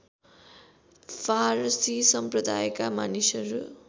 फारसी सम्प्रदायका मानिसहरू